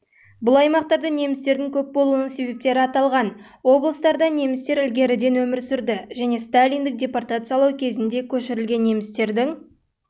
бұл аймақтарда немістердің көп болуының себептері аталған облыстарда немістер ілгеріден өмір сүрді және сталиндік депортациялау кезінде көшірілген немістердің